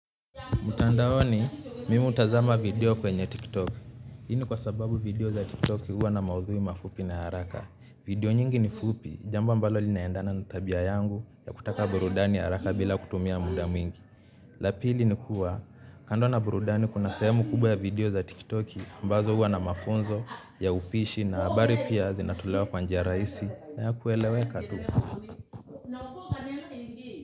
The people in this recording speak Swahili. Mtandaoni, mimi hutazama video kwenye tiktok. Hii ni kwa sababu video za tiktok huwa na maudhui mafupi na ya haraka. Video nyingi ni fupi, jambo ambalo linaendana na tabia yangu ya kutaka burudani haraka bila kutumia muda mwingi. La pili ni kuwa, kando na burudani kuna sehemu kubwa ya video za tiktok ambazo huwa na mafunzo ya upishi na habari pia zinatolewa kwa njia rahisi na ya kueleweka tu.